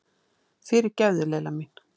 Fyrirgefðu, Lilla mín!